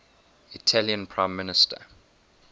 italian prime minister